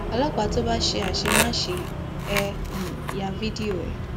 ọlọpàá tó bá ṣe àṣemáṣe ẹ um ya fídíò ẹ